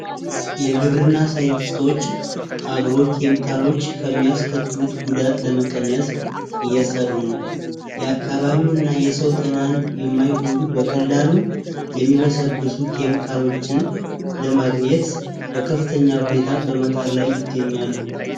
የግብርና ሳይንቲስቶች አግሮ ኬሚካሎች ከሚያስከትሉት ጉዳት ለመቀነስ እየሰሩ ነው የአካባቢውንና የሰው ጤናን በማይጎዱ በቀላሉ በሚመበሰብሱ ኬሚካሎች ለማግኘት በከፍተኛ ሁኔታ በመጣር ላይ ይገኛሉ።